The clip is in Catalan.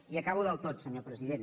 i acabo del tot senyor president